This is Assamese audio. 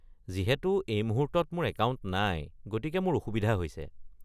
যিহেতু এই মুহূৰ্তত মোৰ একাউণ্ট নাই, গতিকে মোৰ অসুবিধা হৈছে।